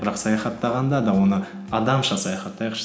бірақ саяхаттағанда да оны адамша саяхаттайықшы